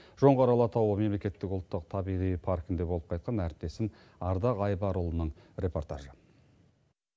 жоңғар алатауы мемлекеттік ұлттық табиғи паркінде болып қайтқан әріптесім ардақ айбарұлының репортажы